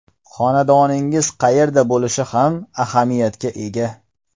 Xonadoningiz qayerda bo‘lishi ham ahamiyatga ega.